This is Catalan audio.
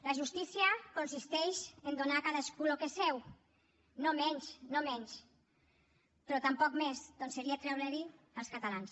la justícia consisteix en donar a cadascú el que és seu no menys no menys però tampoc més perquè seria treure ho als catalans